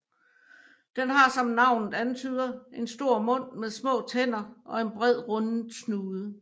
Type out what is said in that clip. Den har som navnet antyder en stor mund med små tænder og en bred rundet snude